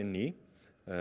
í